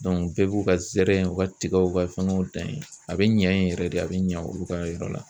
bɛɛ b'u ka zɛrɛnw , u ka tigaw , u ka fɛngɛw dan yen, a bɛ ɲɛ yen yɛrɛ de ,a bɛ ɲɛ olu ka yɔrɔ la.